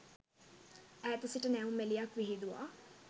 ඈත සිට නැවුම් එළියක් විහිදුවා